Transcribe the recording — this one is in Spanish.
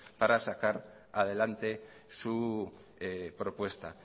para sacar adelante su propuesta